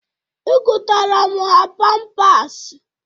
Egotara m ha pampasị.